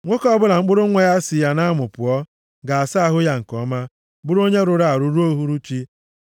“ ‘Nwoke ọbụla mkpụrụ nwa ya si ya nʼamụ pụọ, ga-asa ahụ ya nke ọma, bụrụ onye rụrụ arụ ruo uhuruchi.